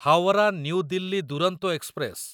Howrah new Delhi Duronto express